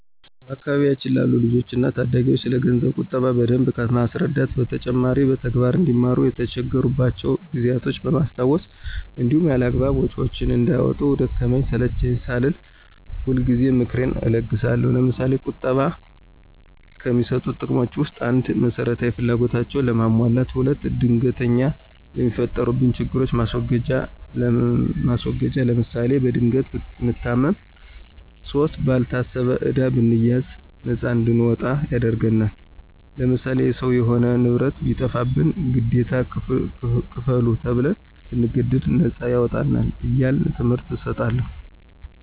በአካባቢያችን ላሉ ልጆች እና ታዳጊዎች ስለገንዘብ ቁጠባ በደንብ ከማስረዳት በተጨማሪ በተግባር አንዲማሩ የተቸገሩባቸውን ጊዜያቶች በማስታወስ እንዲሁም ያላግባብ ወጭዎችን እንዳያወጡ ደከመኝ ሰለቼኝ ሳልል ሁልጊዜ ምክሬን እለግሳለሁ። ለምሳሌ፦ ቁጠባ ከሚሰጡት ጥቅሞች ውስጥ፦ ፩) መሰረታዊ ፍላጎታችንን ለማሟላት። ፪) ድንገተኛ ለሚፈጠሩብን ችግሮች ማስወገጃ ለምሳሌ፦ በድንገት ብንታመም ፫) ባልታሰበ ዕዳ ብንያዝ ነፃ እንድንወጣ ያደርግናል። ለምሳሌ፦ የሰው የሆነ ንብረት ቢጠፋብንና ግዴታ ክፈሉ ተብን ብንገደድ ነፃ ያወጣናል። እያልሁ ትምህርት እሰጣለሁ።